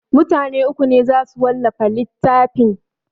Mutane uku ne za su wallafa littafin